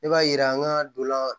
Ne b'a yira an ka dolan